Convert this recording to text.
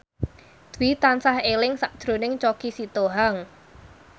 Dwi tansah eling sakjroning Choky Sitohang